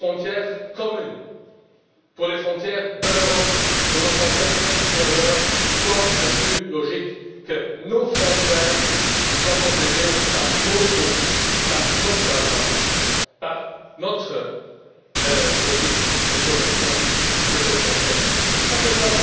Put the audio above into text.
Pour nos frontières communes, pour les frontières de l'Europe, pour nos frontières extérieures, quoi de plus logique que nos frontières soient protégées par nos troupes, par notre agence, par notre logique de protection de ces frontières, où que